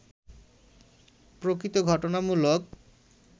প্রকৃত-ঘটনা-মূলক